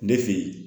Ne fe yen